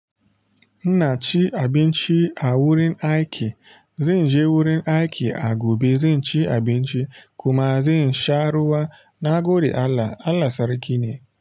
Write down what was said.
Ina cin abinci a wurin aiki. Zanje wurin aiki a gobe, zan ci abinci kuma zan sha ruwa. Na gode Allah, Allah sarki ne.